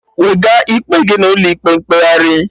Wega ikpe gị n'ụlọ ịkpe mkpegharị